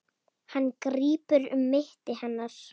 Hann grípur um mitti hennar.